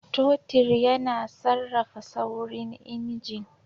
Totir yana sarrafa saurin injin.